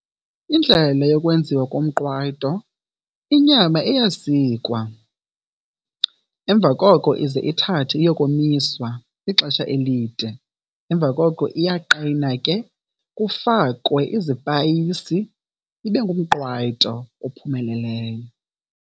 Indlela le yokwenziwa komqwayito, inyama iyasikwa emva koko ize ithathwe iyokomiswa ixesha elide, emva koko iyaqina ke kufakwe izipayisi ibe ngumqwayito ophumeleleyo.